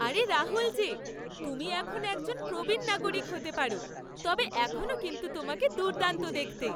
আরে রাহুল যে, তুমি এখন একজন প্রবীণ নাগরিক হতে পারো, তবে এখনও কিন্তু তোমাকে দুর্দান্ত দেখতে।